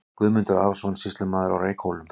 Guðmundur Arason, sýslumaður á Reykhólum.